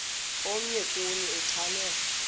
omnye kuni uchane